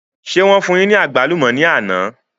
Ṣé wọn fún yín ní àgbálùmọ̀ ni àná?